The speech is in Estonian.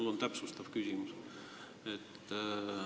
Mul on täpsustav küsimus.